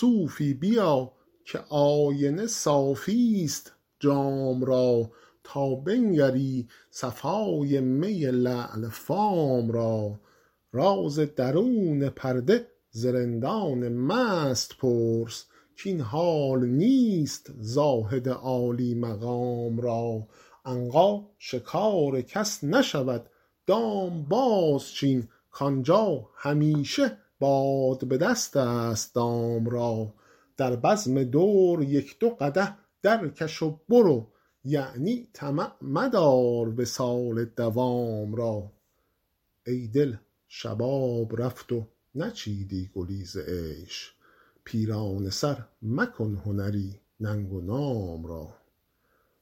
صوفی بیا که آینه صافی ست جام را تا بنگری صفای می لعل فام را راز درون پرده ز رندان مست پرس کاین حال نیست زاهد عالی مقام را عنقا شکار کس نشود دام بازچین کآنجا همیشه باد به دست است دام را در بزم دور یک دو قدح درکش و برو یعنی طمع مدار وصال مدام را ای دل شباب رفت و نچیدی گلی ز عیش پیرانه سر مکن هنری ننگ و نام را